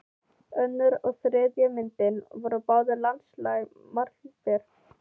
Önnur og þriðja myndin voru báðar landslagsmálverk.